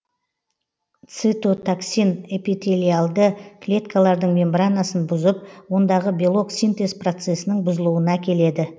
цитотоксин эпителиальды клеткалардың мембранасын бұзып ондағы белок синтез процесінің бұзылуына әкеледі